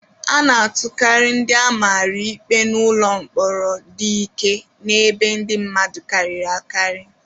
A na-atụkarị ndị a mara ikpe n'ụlọ mkpọrọ dị ike na ebe ndị mmadụ karịrị akarị.